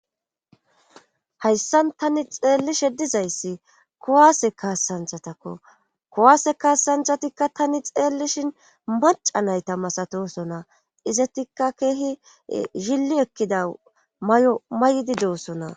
hayssan tani xeellishe dizayssi kuwaase kaassanthatakko kuwaase kaassanthatikka tani xeellishin maca nayta masatosona izetikka keehi zilli ekkida may7o may7di de7ossona